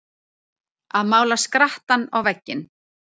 Að mála skrattann á vegginn